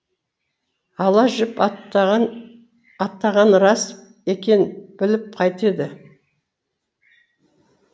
ала жіп аттағаны рас екен біліп қайтеді